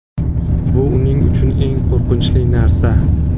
Bu uning uchun eng qo‘rqinchli narsa.